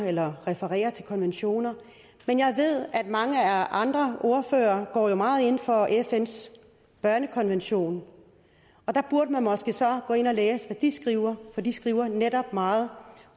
eller refererer til konventioner men jeg ved at mange andre ordførere går meget ind for fns børnekonvention og der burde man måske så gå ind og læse hvad de skriver for de skriver netop meget